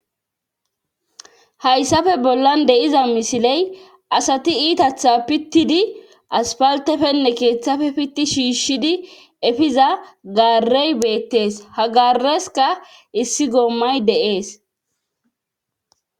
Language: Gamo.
Hayssafe bollan deiza misiley asati iitatha pittidi aspaltefenne keeththafe pitti shiishshidi efiza garey beettes hagareska issi goommay dees.